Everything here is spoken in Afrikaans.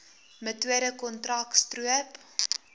metode kontrak stroop